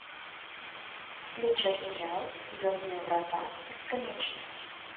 включай сериал звездные врата бесконечность